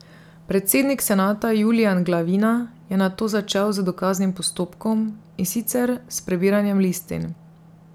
Predsednik senata Julijan Glavina je nato začel z dokaznim postopkom, in sicer s prebiranjem listin.